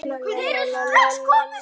Finnst þér það nægur tími?